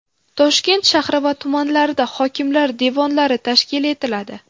Toshkent shahri va tumanlarida hokimlar devonlari tashkil etiladi.